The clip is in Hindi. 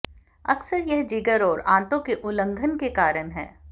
अक्सर यह जिगर और आंतों के उल्लंघन के कारण है